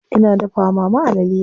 Ina dafa wa mama alale.